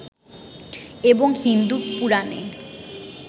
এবং হিন্দু পুরাণে